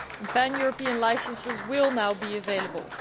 Pan European licences will now be available.